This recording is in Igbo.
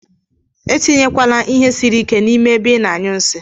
Atinye kwana ihe siri ike na ime ebe ina anyụ nsi.